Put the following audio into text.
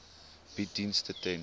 bied dienste ten